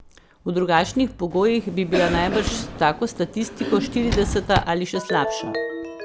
V drugačnih pogojih bi bila najbrž s tako statistiko štirideseta ali še slabša.